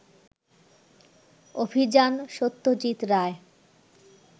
অভিযান, সত্যজিত রায়